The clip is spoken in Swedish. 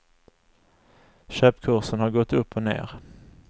Köpkursen har gått upp och ned.